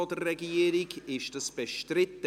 Ist dies im Saal bestritten?